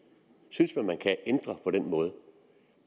synes man man kan ændre på den måde